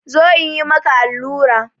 Zo in yi maka allura!